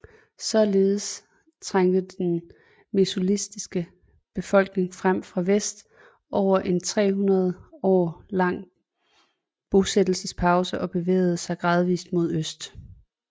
Således trængte den mesolitiske befolkning frem fra vest efter en 300 år lang bosættelsespause og bevægede sig gradvist mod øst